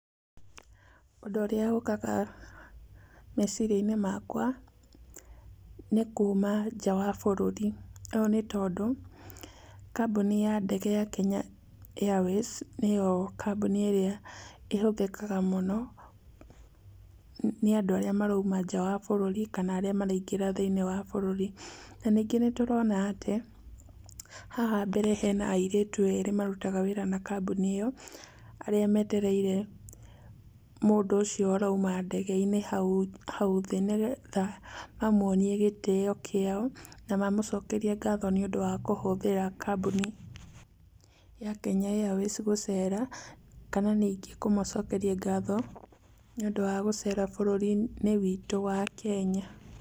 Ũndũ ũrĩa ũkaga meciria-inĩ makwa, nĩ kuuma nja wa bũrũri. Ũũ nĩ tondũ, kambuni ya ndege ya Kenya Airways, nĩyo kambuni ĩrĩa ĩhũthĩkaga mũno nĩ andũ arĩa marauma nja wa bũrũri kana arĩa maraingĩra thĩiniĩ wa bũrũri. Na ningĩ nĩtũrona atĩ, haha mbere hena airĩtu eerĩ marutaga wĩra na kambuni ĩyo, arĩa metereire mũndũ ũcio ũrauma ndege-inĩ hau, hau thĩ nĩgetha mamuonie gĩtĩyo kĩao na mamũcokerie ngatho nĩũndũ wa kũhũthĩra kambuni ya Kenya Airways gũcera, kana ningĩ kũmũcokeria ngatho nĩũndũ wa gũcera bũrũri-inĩ witũ wa Kenya.